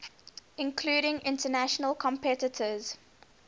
including international competitors